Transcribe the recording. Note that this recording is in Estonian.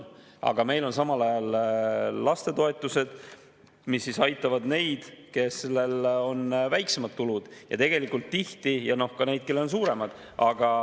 Aga meil on samal ajal toetused, mis aitavad neid, kellel on väiksemad tulud, ja ka neid, kellel on suuremad.